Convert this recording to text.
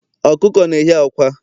Okuko na ehi akwa